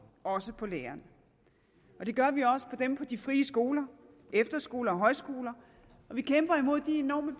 også på lærerne det gør vi også på dem på de frie skoler efterskoler og højskoler og vi kæmper imod de enorme